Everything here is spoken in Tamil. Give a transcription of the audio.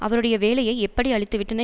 அவருடைய வேலையை எப்படி அழித்துவிட்டன